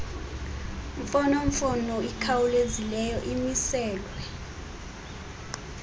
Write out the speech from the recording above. mfonomfono ikhawulezileyo imiselwe